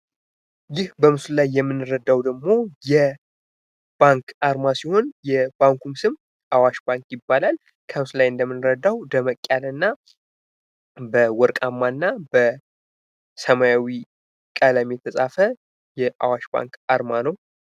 ይህ በምስሉ ላይ የምንረዳው ደሞ የባንክ አርማ ሲሆን የባንኩም ስም አዋሽ ባንክ ይባላል። በምስሉ ላይ እንደምንረዳው ደመቅ ያለ እና በሰማያዊ ቀለም የተጻፈ የአዋሽ ባንክ አርማ ነው።